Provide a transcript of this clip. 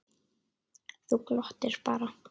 Þú glottir bara!